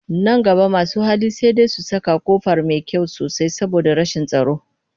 Nan gaba masu hali sai dai su saka ƙofa mai ƙ arfi sosai saboda rashin tsaro